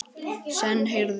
Senn heyrði